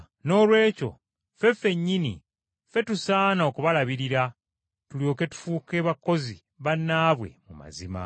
Noolwekyo ffe ffennyini, ffe tusaana okubalabirira tulyoke tufuuke bakozi bannaabwe mu mazima.